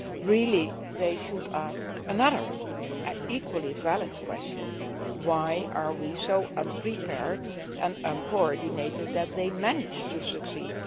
Really they should ask another equally valid question why are we so unprepared and uncoordinated that they manage to succeed?